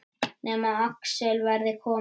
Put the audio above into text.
Nema Axel verði kominn.